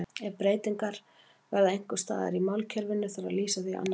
Ef breytingar verða einhvers staðar í málkerfinu þarf að lýsa því á annan hátt.